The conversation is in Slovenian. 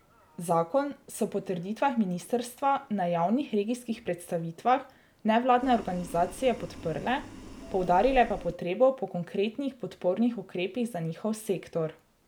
Zakon so po trditvah ministrstva na javnih regijskih predstavitvah nevladne organizacije podprle, poudarile pa potrebo po konkretnih podpornih ukrepih za njihov sektor.